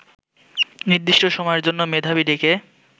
নির্দিষ্ট সময়ের জন্য মেধাবী ডেকে